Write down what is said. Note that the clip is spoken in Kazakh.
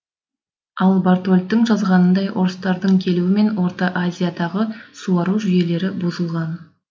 ал бартольдтің жазғанындай орыстардың келуімен орта азиядағы суару жүйелері бұзылған